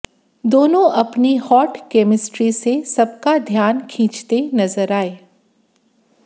दोनों अपनी hot chemistry से सबका ध्यान खींचते नजर आए